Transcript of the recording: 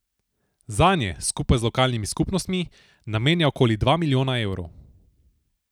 Zanje, skupaj z lokalnimi skupnostmi, namenja okoli dva milijona evrov.